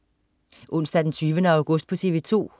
Onsdag den 20. august - TV 2: